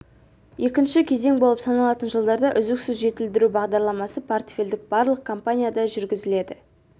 екінші кезең болып саналатын жылдарда үздіксіз жетілдіру бағдарламасы портфельдік барлық компанияда жүргізіледі